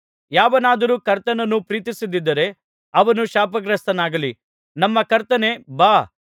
ಯಾವನಾದರೂ ಕರ್ತನನ್ನು ಪ್ರೀತಿಸದಿದ್ದರೆ ಅವನು ಶಾಪಗ್ರಸ್ತನಾಗಲಿ ನಮ್ಮ ಕರ್ತನೇ ಬಾ